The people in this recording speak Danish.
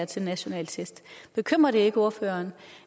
til national test bekymrer det ikke ordføreren